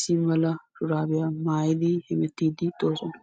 shuraabiya maayidi eqiis.